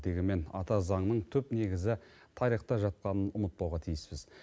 дегенмен ата заңның түп негізі тарихта жатқанын ұмытпауға тиіспіз